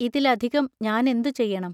ഇതിലധികം ഞാനെന്തു ചെയ്യണം?